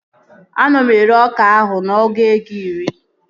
Ana m ere ọka ahụ ọgụ ego iri